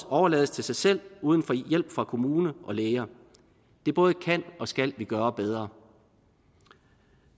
overlades til sig selv uden hjælp fra kommune og læger det både kan og skal vi gøre bedre